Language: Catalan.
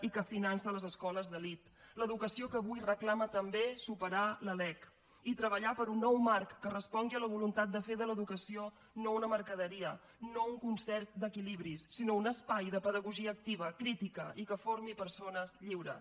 i que finança les escoles d’elit l’educació que avui reclama també superar la lec i treballar per un nou marc que respongui a la voluntat de fer de l’educació no una mercaderia no un concert d’equilibris sinó un espai de pedagogia activa crítica i que formi persones lliures